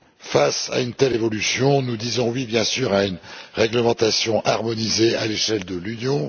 Face à une telle évolution, nous disons oui, bien sûr, à une réglementation harmonisée à l'échelle de l'Union.